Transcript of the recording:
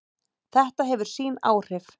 Þetta hefur sín áhrif.